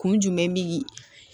Kun jumɛn bi